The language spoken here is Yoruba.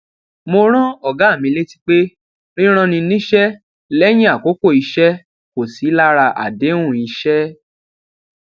mo rán ògá mi létí pé rírán ni níṣẹ léyìn àkókò iṣé kò sí lára àdéhùn iṣẹ